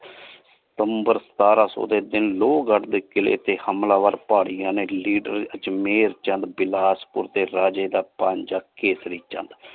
ਸਿਤੰਬਰ ਸਤਾਰਾਂ ਸੋ ਦੇ ਤੀਨ ਲੋਹਗਢ਼ ਦੇ ਕੀਲੇ ਤੇ ਹਮਲਾਵਰ ਪਹਰਿਯਾਂ ਨੇ ਲੀਡਰ ਵਿਚ ਮੇਹੇਰ ਚੰਦ ਪਿਲ੍ਹਾਜ ਪੁਰ ਦੇ ਰਾਜੀ ਦਾ ਭਾਣਜਾ ਕੇਸਰੀ ਚੰਦ।